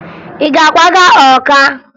Ị ga-akwaga Ọka?